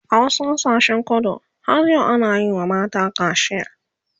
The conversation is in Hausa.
a wasu ƙasashen kudu har yau ana Yi wa mata kacia